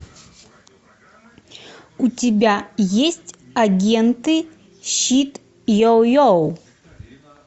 у тебя есть агенты щит йо йо